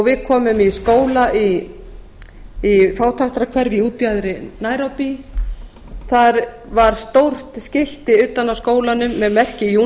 við komum í skóla í fátækrahverfi í útjaðri nairobi þar var stórt skilti utan á skólanum með